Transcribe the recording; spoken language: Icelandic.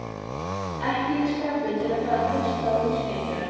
Ekki í skapi til að fara að hlusta á útskýringar.